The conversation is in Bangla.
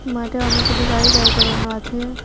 মাঠে অনেকগুলি গাড়ি দাঁড় করানো আছে।